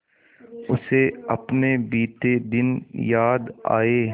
उसे अपने बीते दिन याद आए